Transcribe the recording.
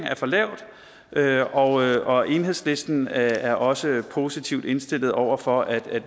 er for lavt lavt og og enhedslisten er også positivt indstillet over for at